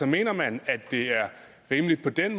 mener man at det er rimeligt sådan